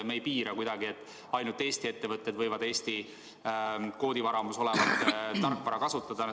Me ei piira kuidagi selle kasutust nii, et ainult Eesti ettevõtted võivad Eesti koodivaramus olevat tarkvara kasutada.